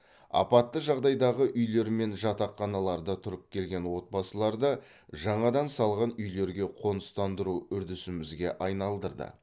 апатты жағдайдағы үйлер мен жатақханаларда тұрып келген отбасыларды жаңадан салған үйлерге қоныстандыру үрдісімізге айналдырды